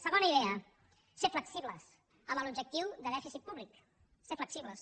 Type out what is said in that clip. segona idea ser flexibles amb l’objectiu de dèficit públic ser flexibles